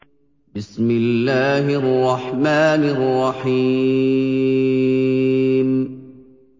بِسْمِ اللَّهِ الرَّحْمَٰنِ الرَّحِيمِ